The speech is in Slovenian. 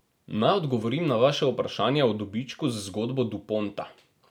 Naj odgovorim na vaše vprašanje o dobičku z zgodbo Duponta.